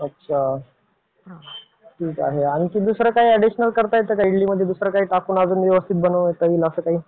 अच्छा. आणखी दुसरे काय अॅडीशनल करता येतं का इडलीमध्ये दुसरं काही टाकून आणखी व्यवस्थित बनवता येईल असं काही.